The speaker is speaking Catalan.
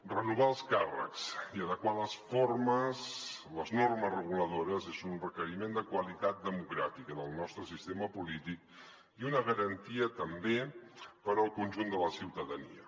renovar els càrrecs i adequar les normes reguladores és un requeriment de qualitat democràtica del nostre sistema polític i una garantia també per al conjunt de la ciutadania